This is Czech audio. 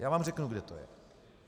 Já vám řeknu, kde to je.